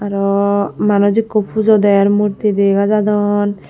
aww manuc ekko pujo derr murti degajadon.